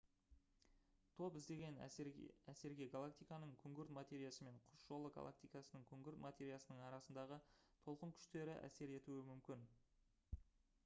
топ іздеген әсерге галактиканың күңгірт материясы мен құс жолы галактикасының күңгірт материясының арасындағы толқын күштері әсер етуі мүмкін